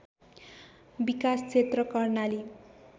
विकास क्षेत्र कर्णाली